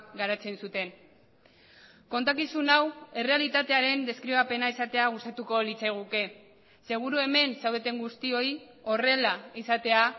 garatzen zuten kontakizun hau errealitatearen deskribapena izatea gustatuko litzaiguke seguru hemen zaudeten guztioi horrela izatea